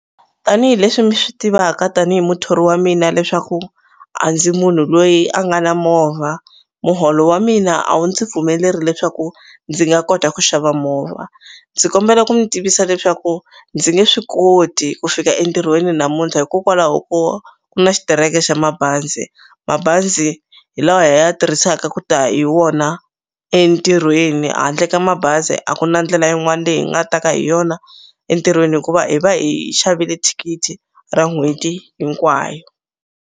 Tanihi leswi mi swi tivaka tanihi muthori wa mina leswaku a ndzi munhu loyi a nga na movha muholo wa mina a wu ndzi pfumeleri leswaku ndzi nga kota ku xava movha ndzi kombela ku mi tivisa leswaku ndzi nge swi koti ku fika entirhweni namuntlha hikokwalaho ko ku na xitireke xa mabazi mabazi hi lawa hi ya tirhisaka ku ta hi wona entirhweni handle ka mabazi a ku na ndlela yin'wani leyi hi nga ta ka hi yona entirhweni hikuva hi va hi xavile thikithi ra n'hweti hinkwayo.